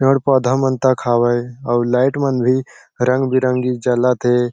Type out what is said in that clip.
पेड़- पौधा मंटा खावे आउ लाइट मन भी रंग -बिरंगी जलत हैं ।